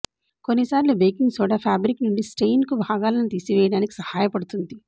కొన్నిసార్లు baking soda fabric నుండి stain కు భాగాలను తీసివేయటానికి సహాయపడుతుంది